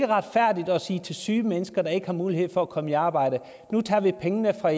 retfærdigt at sige til syge mennesker der ikke har mulighed for at komme i arbejde nu tager vi pengene fra